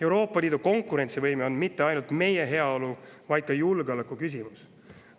Euroopa Liidu konkurentsivõime on mitte ainult meie heaolu, vaid ka julgeoleku küsimus.